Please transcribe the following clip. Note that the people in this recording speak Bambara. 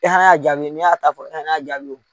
E hana a jaabi ni y'a ta fɔ e hana a jaabi.